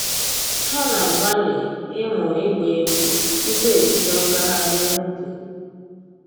Ha na-agbalị ịmụ ịgba egwu tupu ebido ngaghrị n'ubi